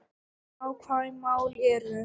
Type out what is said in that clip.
Nákvæm mál eru